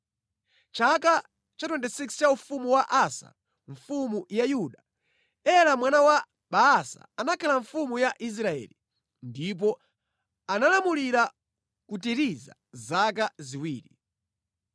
Mʼchaka cha 26 cha ufumu wa Asa mfumu ya Yuda, Ela mwana wa Baasa anakhala mfumu ya Israeli, ndipo analamulira ku Tiriza zaka ziwiri.